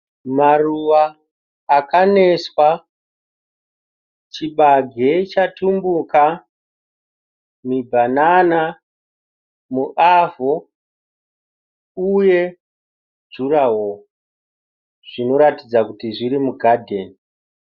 Maruva aka neswa. Chibage chatumbuka. Mibhanana muavho uye juraho zvinoratidza kuti zviri mugadheni.